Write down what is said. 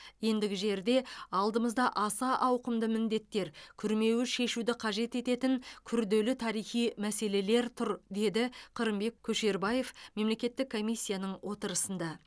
ендігі жерде алдымызда аса ауқымды міндеттер күрмеуі шешуді қажет ететін күрделі тарихи мәселелер тұр деді қырымбек көшербаев мемлекеттік комиссияның отырысында